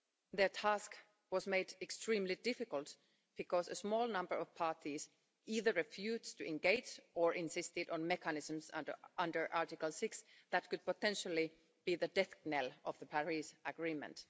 Their task was made extremely difficult because a small number of parties either refused to engage or insisted on mechanisms under Article 6 that could potentially be the death knell of the Paris Agreement.